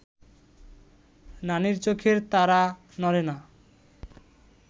নানির চোখের তারা নড়ে না